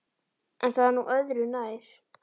En það er nú örðu nær.